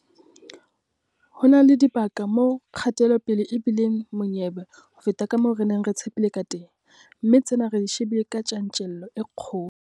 Ho na le dibaka moo kgatelopele e bi leng monyebe ho feta ka moo re neng re tshepile kateng, mme tsena re di shebile ka tjantjello e kgolo.